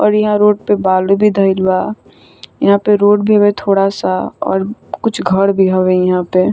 और इहा रोड पे बालू भी धइल बा यहाँ पे रोड भी थोड़ा सा और कुछ घर भी हवे इहा पे।